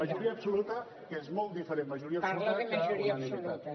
majoria absoluta que és molt diferent majoria absoluta d’unanimitat